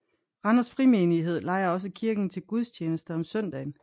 Randers Frimenighed lejer også kirken til gudstjenester om søndagen